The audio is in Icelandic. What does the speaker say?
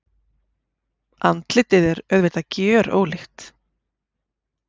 Andlitið er auðvitað gjörólíkt.